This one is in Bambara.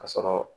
Ka sɔrɔ